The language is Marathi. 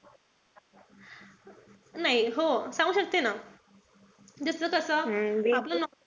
नाई. हो सांगू शकते ना. त्याच्यातला कस,